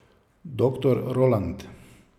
Doktor Roland.